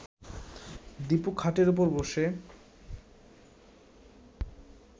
দীপুর খাটের ওপর বসে